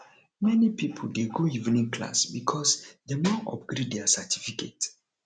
many pipo dey go evening class because dem wan upgrade their certificate